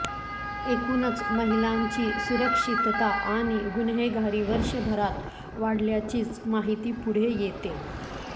एकुणच महिलांची सुरक्षितता आणि गुन्हेगारी वर्षभरात वाढल्याचीच माहिती पुढे येतेय